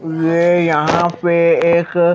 मैं यहां पे एक---